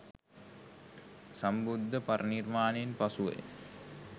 සම්බුද්ධ පරිනිර්වාණයෙන් පසුවය.